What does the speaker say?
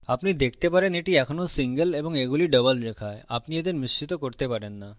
আপনি দেখতে পারেন এটি এখনো single এবং এগুলি double রেখা আপনি এদের মিশ্রিত করতে পারেন না